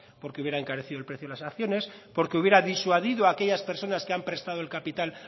porque hubiera encarecido el precio de las acciones porque hubiera disuadido a aquellas personas que han prestado el capital